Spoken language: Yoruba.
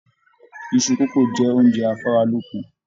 Iṣu kókó jẹ oúnjẹ afaralókun.